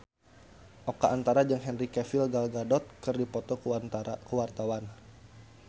Oka Antara jeung Henry Cavill Gal Gadot keur dipoto ku wartawan